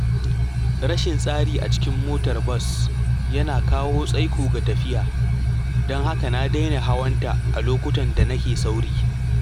Rashin tsari a cikin motar bas yana kawo tsaiko ga tafiya, don haka na daina hawanta a lokutan da nake sauri.